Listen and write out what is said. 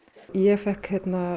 ég fékk